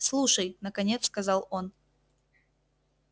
слушай наконец сказал он